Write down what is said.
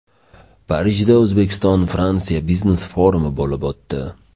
Parijda O‘zbekistonFransiya biznes-forumi bo‘lib o‘tdi.